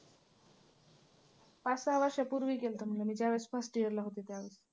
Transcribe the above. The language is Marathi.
पाच, सहा वर्षापूर्वी केलतं म्हणजे मी त्यावेळेस first year ला होते त्यावेळेस.